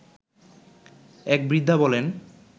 এক বৃদ্ধা বলেন